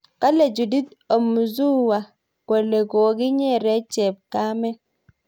Kale Judith Omuzuwa kole kokinyeree chepkamet